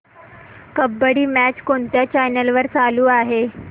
kabaddi match कोणत्या channel वर चालू आहे